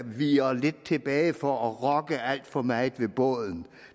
viger tilbage for at rokke alt for meget med båden